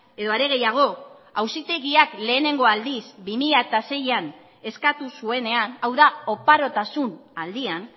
edo are gehiago auzitegiak lehenengo aldiz bi mila seian eskatu zuenean hau da oparotasun aldian